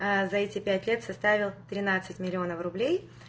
за это пять лет составил тринадцать миллионов рублей